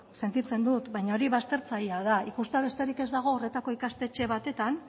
sentitzen dut baina hori baztertzailea da ikustea besterik ez dago ikastetxe batetan